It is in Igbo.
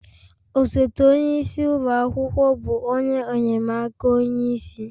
Osote onye isi ụlọ akwụkwọ bụ onye enye'm aka onye isi